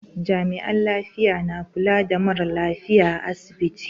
Jami'an lafiya na kula da mara lafiya a asibiti.